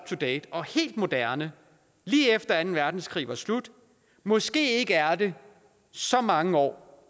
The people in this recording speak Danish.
to date og helt moderne lige efter anden verdenskrig var slut måske ikke er det så mange år